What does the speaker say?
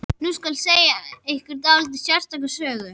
Nú skal segja ykkur dálítið sérstaka sögu.